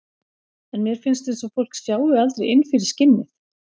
En mér finnst eins og fólk sjái aldrei inn fyrir skinnið.